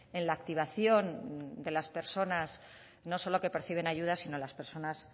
en la activación de las personas no solo que perciben ayudas sino las personas